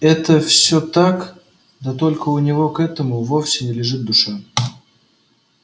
это всё так да только у него к этому вовсе не лежит душа